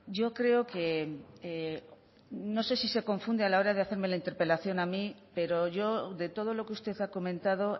yo creo que no sé si se confunde a la hora de hacerme la interpelación a mí pero yo de todo lo que usted ha comentado